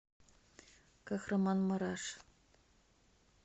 кахраманмараш